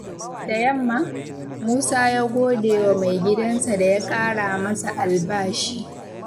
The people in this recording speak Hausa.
Da yamma, Musa ya gode wa maigidansa da ya ƙara masa albashi.